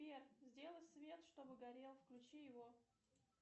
сбер сделай свет чтобы горел включи его